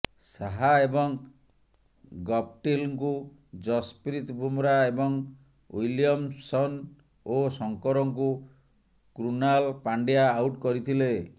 ସାହା ଏବଂ ଗପ୍ଟିଲଙ୍କୁ ଯଶପ୍ରୀତ୍ ବୁମରା ଏବଂ ୱିଲିୟମସନ୍ ଓ ଶଙ୍କରଙ୍କୁ କୃନାଲ ପାଣ୍ଡ୍ୟା ଆଉଟ୍ କରିଥିଲେ